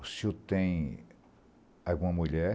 O senhor tem alguma mulher?